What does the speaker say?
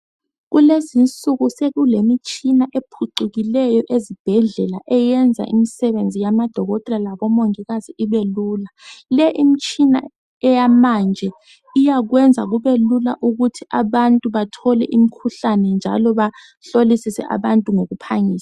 Kulezi insuku sokulemitshina ephucukileyo ezibhedlela eyenza imisebenzi yabodokotela labo mongikazi ibelula le imitshina eyamanje iyakwenza kube lula ukuthi abantu bathole imikhuhlane njalo bahlolisise abantu ngokuphangisa